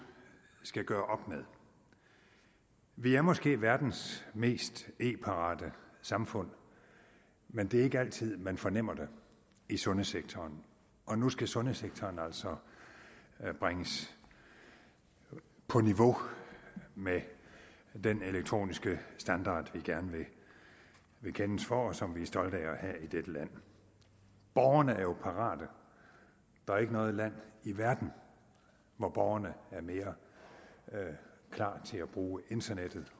skal gøre med vi er måske verdens mest e parate samfund men det er ikke altid man fornemmer det i sundhedssektoren og nu skal sundhedssektoren altså bringes på niveau med den elektroniske standard vi gerne vil kendes for og som vi er stolte af at have i dette land borgerne er jo parate der er ikke noget land i verden hvor borgerne er mere klar til at bruge internettet